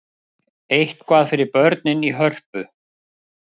Eitthvað fyrir börnin í Hörpu